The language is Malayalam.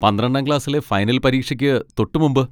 പന്ത്രണ്ടാം ക്ലാസ്സിലെ ഫൈനൽ പരീക്ഷയ്ക്ക് തൊട്ടുമുമ്പ്.